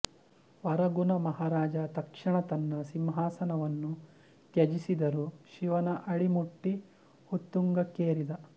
ವರಗುನ ಮಹಾರಾಜ ತಕ್ಷಣ ತನ್ನ ಸಿಂಹಾಸನವನ್ನು ತ್ಯಜಿಸಿದರು ಶಿವನ ಅಡಿ ಮುಟ್ಟಿ ಉತ್ತುಂಗಕ್ಕೇರಿದ